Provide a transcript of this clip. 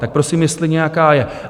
Tak prosím, jestli nějaká je?